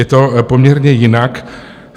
Je to poměrně jinak.